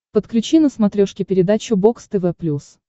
подключи на смотрешке передачу бокс тв плюс